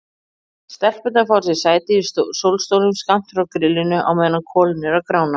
Stelpurnar fá sér sæti í sólstólum skammt frá grillinu á meðan kolin eru að grána.